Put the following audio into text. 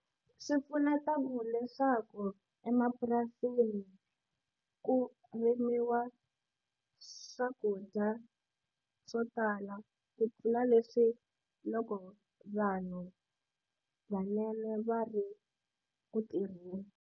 Swi pfuneta ku leswaku emapurasini ku rimiwa swakudya swo tala ku tlula leswi loko vanhu va ri ku tirheni.